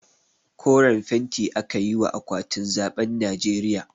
Koren fenti aka yi wa akwatin zaɓen najeriya